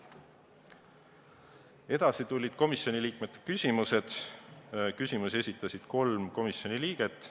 Edasi tulid komisjoni liikmete küsimused, neid esitasid kolm komisjoni liiget.